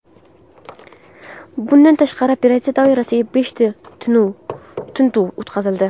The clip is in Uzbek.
Bundan tashqari, operatsiya doirasida beshta tintuv o‘tkazildi.